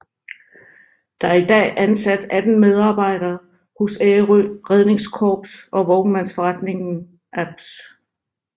Der er i dag ansat 18 medarbejdere hos Ærø Redningskorps og Vognmandsforretning ApS